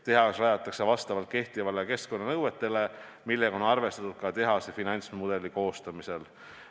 Tehas rajatakse vastavalt kehtivatele keskkonnanõuetele, millega on arvestatud ka tehase finantsmudeli koostamisel.